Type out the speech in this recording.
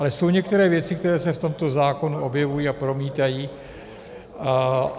Ale jsou některé věci, které se v tomto zákonu objevují a promítají.